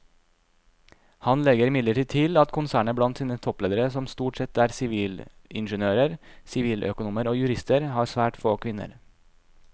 Han legger imidlertid til at konsernet blant sine toppledere som stort sette er sivilingeniører, siviløkonomer og jurister har svært få kvinner.